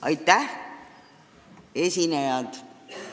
Aitäh, esinejad!